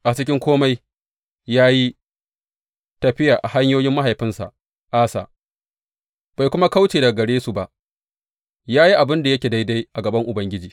A cikin kome ya yi tafiya a hanyoyin mahaifinsa Asa, bai kuma kauce daga gare su ba; ya yi abin da yake daidai a gaban Ubangiji.